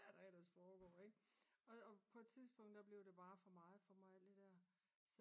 hvad der ellers foregår ikke og på et tidspunkt der blev det bare for meget for mig alt det der